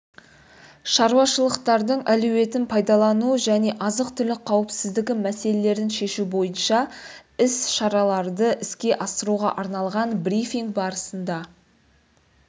шаруашылықтардың әлеуетін пайдалану және азық-түлік қауіпсіздігі мәселелерін шешу бойынша іс-шараларды іске асыруға арналған брифинг барысында